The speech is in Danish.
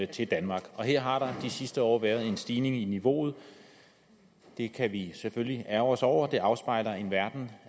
til danmark og her har der de sidste år været en stigning i niveauet det kan vi selvfølgelig ærgre os over det afspejler en verden